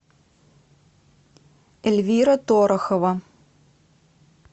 эльвира торохова